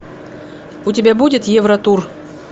у тебя будет евротур